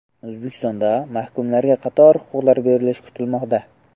O‘zbekistonda mahkumlarga qator huquqlar berilishi kutilmoqda.